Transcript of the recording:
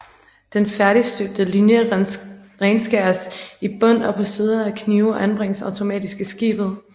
Den færdigstøbte linje renskæres i bund op på sider af knive og anbringes automatisk i skibet